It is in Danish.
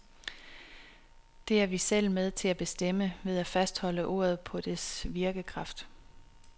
Det er vi selv med til at bestemme, ved at fastholde ordet på dets virkekraft.